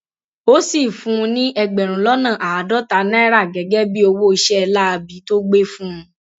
ó sì fún un ní ẹgbẹrún lọnà àádọta náírà gẹgẹ bíi owó iṣẹ láabi tó gbé fún un